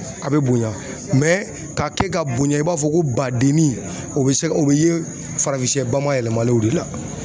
A bɛ bonya ka kɛ ka bonya i b'a fɔ ko badennin o bɛ se ka o bɛ ye farafinsɛ bayɛlɛmalenw de la.